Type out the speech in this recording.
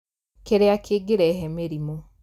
Kĩrĩa kĩngĩrehe mĩrimũ